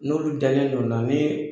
N'olu dalennen don na ni